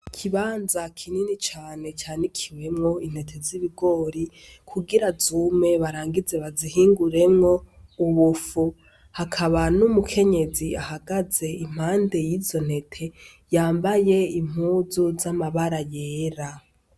Ikibanza kinini cane canikiwemwo intete z'ibigori, kugira zume barangize bazihinguremwo ubufu. Hakaba n'umukenyezi ahagaze impande y'izo ntete, yambaye impuzu z'amabara yera.